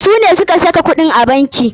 Su ne suka sa kuɗin a banki.